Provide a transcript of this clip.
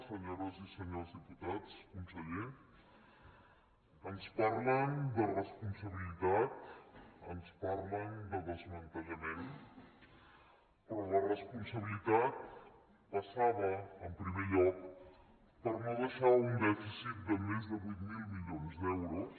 senyores i senyors diputats conseller ens parlen de responsabilitats ens parlen de desmantellament però la responsabilitat passava en primer lloc per no deixar un dèficit de més de vuit mil milions d’euros